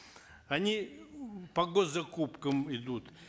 они по гос закупкам идут